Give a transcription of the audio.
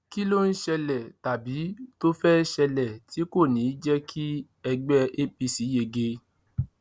kí ló ń ṣẹlẹ tàbí tó fẹẹ ṣẹlẹ tí kò ní í jẹ kí ẹgbẹ apc yege